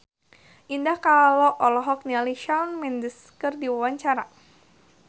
Indah Kalalo olohok ningali Shawn Mendes keur diwawancara